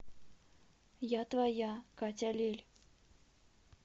я твоя катя лель